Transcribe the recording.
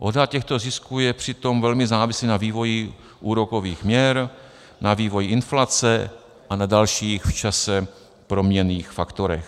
Odhad těchto zisků je přitom velmi závislý na vývoji úrokových měr, na vývoji inflace a na dalších, v čase proměnných faktorech.